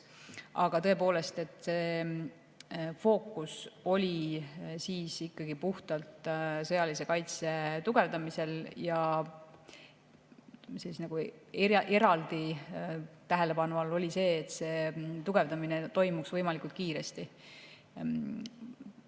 Aga tõepoolest, fookus oli siis ikkagi puhtalt sõjalise kaitse tugevdamisel ja eraldi tähelepanu all oli see, et see tugevdamine toimuks võimalikult kiiresti.